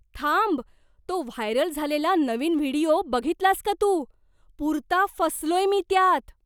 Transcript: थांब, तो व्हायरल झालेला नवीन व्हिडिओ बघितलास का तू? पुरता फसलोय मी त्यात!